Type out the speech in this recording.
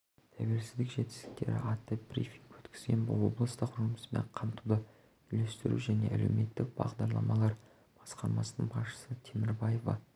тәуелсіздік жетістіктері атты брифинг өткізген облыстық жұмыспен қамтуды үйлестіру және әлеуметтік бағдарламалар басқармасының басшысы темірбаева